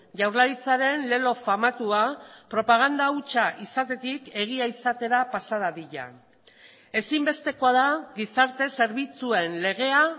jaurlaritzaren lelo famatua propaganda hutsa izatetik egia izatera pasa dadila ezinbestekoa da gizarte zerbitzuen legea